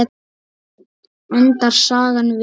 Endar sagan vel?